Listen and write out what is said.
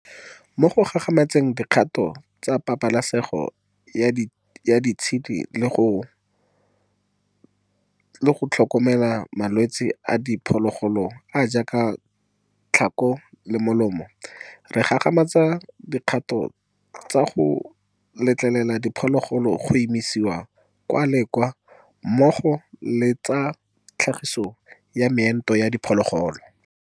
Mo go gagamatseng dikgato tsa pabalesego ya ditshedi le tsa go tlhokomela malwetse a diphologolo a a jaaka jwa tlhako le molomo, re gagamatsa dikgato tsa go letlelela diphologolo go isiwa kwa le kwa mmogo le tsa tlhagiso ya meento ya diphologolo.